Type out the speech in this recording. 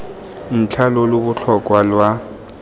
ntlha lo lo botlhokwa lwa